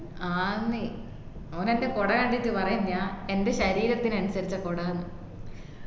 ആഹ് ന്ന് ഓൻ ൻറെ കൊട കണ്ടിറ്റ് പറയുഓന്ന് എന്റെ ശരീരത്തിന് അനിസരിച്ച കൊടാന്ന്